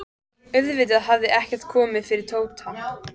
Auðvitað hafði ekkert komið fyrir Tóta.